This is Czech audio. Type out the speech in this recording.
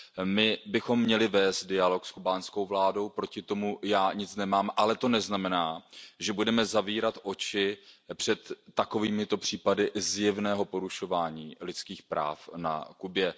My bychom měli vést dialog s kubánskou vládou, proti tomu já nic nemám, ale to neznamená, že budeme zavírat oči před takovýmito případy zjevného porušování lidských práv na Kubě.